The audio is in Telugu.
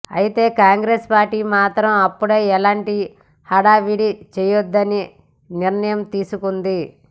అయితే కాంగ్రెస్ పార్టీ మాత్రం అప్పుడే ఎలాంటి హడావిడి చేయొద్దని నిర్ణయం తీసుకుంది